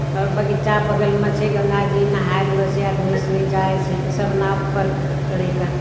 और बगीचा बगल मा छे गंगा जी नहा रहलो छे आदमी उसमें जाए छे सब नाव पर चढ़े के |